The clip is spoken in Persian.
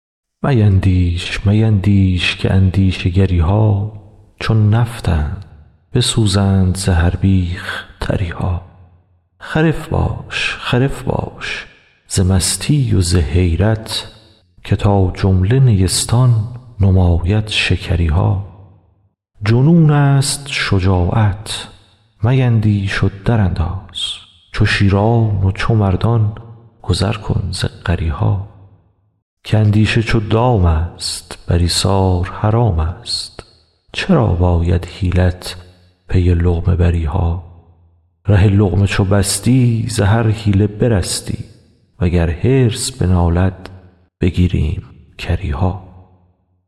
میندیش میندیش که اندیشه گری ها چو نفطند بسوزند ز هر بیخ تری ها خرف باش خرف باش ز مستی و ز حیرت که تا جمله نیستان نماید شکری ها جنونست شجاعت میندیش و درانداز چو شیران و چو مردان گذر کن ز غری ها که اندیشه چو دامست بر ایثار حرامست چرا باید حیلت پی لقمه بری ها ره لقمه چو بستی ز هر حیله برستی وگر حرص بنالد بگیریم کری ها